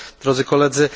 Drodzy Koledzy!